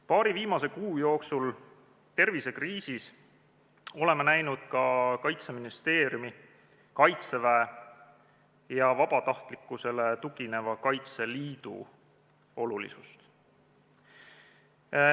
Paari viimase kuu jooksul tervisekriisis oleme näinud ka Kaitseministeeriumi, Kaitseväe ja vabatahtlikkusele tugineva Kaitseliidu olulisust.